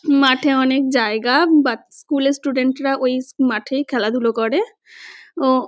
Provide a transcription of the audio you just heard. মাঠে অনেক জায়গা বা বাচ স্কুল -এর স্টুডেন্ট -রা ওই স মাঠেই খেলাধুলো করে ও--